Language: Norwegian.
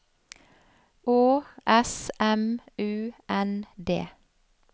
Å S M U N D